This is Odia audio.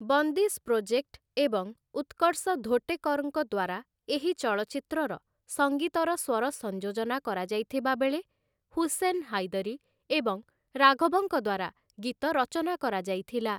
ବନ୍ଦିଶ୍‌ ପ୍ରୋଜେକ୍ଟ ଏବଂ ଉତ୍କର୍ଷ ଧୋଟେକର୍‌ଙ୍କ ଦ୍ୱାରା ଏହି ଚଳଚ୍ଚିତ୍ରର ସଙ୍ଗୀତର ସ୍ୱର ସଂଯୋଜନା କରାଯାଇଥିବା ବେଳେ ହୁସେନ୍ ହାଇଦରୀ ଏବଂ ରାଘବଙ୍କ ଦ୍ୱାରା ଗୀତ ରଚନା କରାଯାଇଥିଲା ।